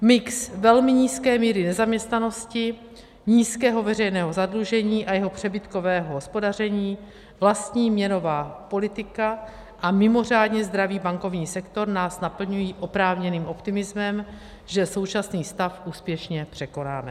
Mix velmi nízké míry nezaměstnanosti, nízkého veřejného zadlužení a jeho přebytkového hospodaření, vlastní měnová politika a mimořádně zdravý bankovní sektor nás naplňují oprávněným optimismem, že současný stav úspěšně překonáme.